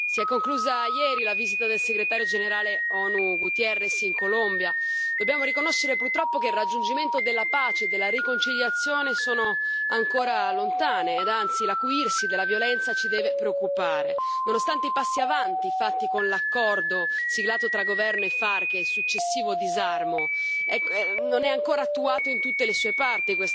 Signor Presidente, onorevoli colleghi, si è conclusa ieri la visita del Segretario generale ONU Guterres in Colombia. Dobbiamo riconoscere, purtroppo, che il raggiungimento della pace e della riconciliazione è ancora lontano e, anzi, l'acuirsi della violenza ci deve preoccupare. Nonostante i passi avanti fatti con l'accordo siglato tra governo e FARC e il successivo disarmo, tale accordo non è ancora attuato in tutte le sue parti